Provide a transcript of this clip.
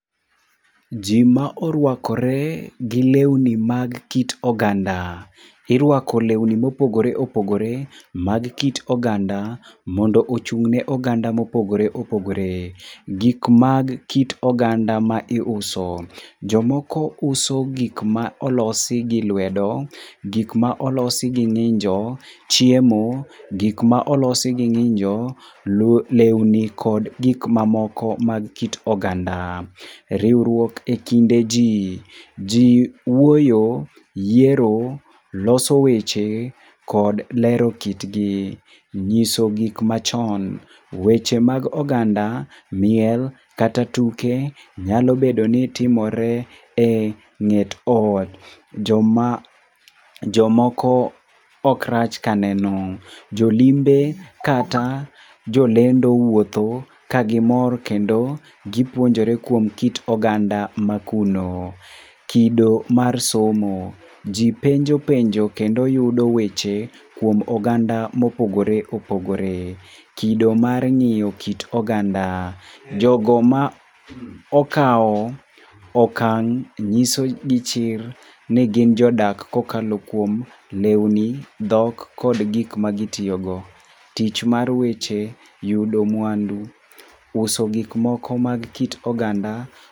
Ji ma orwakore gi lewni ma kit oganda. Irwako lewni ma opogore opogore mag kit oganda, mondo ochung'ne oganda ma opogore opogore. Gik mag kit oganda ma iuso. Jomoko uso gik ma olosi gi lwedo, gik ma olosi gi ngínjo, chiemo, gik ma olosi gi ngínjo, lewni kod gik ma moko mag kit oganda. Riwruok e kinde ji. Ji wuoyo, yiero, loso weche kod lero kitgi. Nyiso gik machon. Weche mag oganda, miel kata tuke, nyalo bedo ni timore, e ngét or. Jomoko ok rach ka neno. Jolimbe kata jolendo wuotho ka gimor kendo gipuonjore kuom kit oganda ma kuno. Kido mar somo. Ji penjo penjo, kendo yudo weche kuom oganda mopogore opogore. Kido mar ngéyo kit oganda. Jogo ma okao okang' nyiso gi chir, ni gin jodak kokalo kuom lewni, dhok kod gik ma gitiyo go. Tich mar weche yudo mwandu. Uso gik moko mag kit oganda.